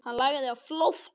Hann lagði á flótta.